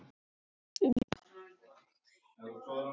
Jonna fannst það gott.